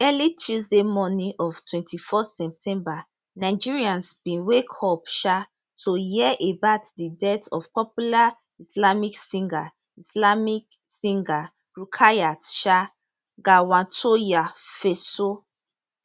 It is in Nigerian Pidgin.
early tuesday morning of 24 september nigerians bin wake up um to hear about di death of popular islamic singer islamic singer rukayat um gawatoyefeso